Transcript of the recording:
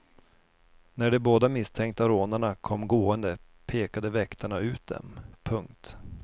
När de båda misstänkta rånarna kom gående pekade väktarna ut dem. punkt